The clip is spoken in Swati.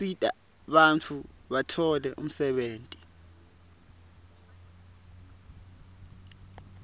asita bantfu batfole umsebenti